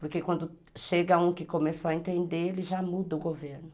Porque quando chega um que começou a entender, ele já muda o governo.